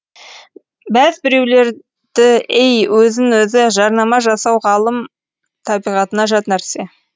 бәз біреулердіей өзін өзі жарнама жасау ғалым табиғатына жат нәрсе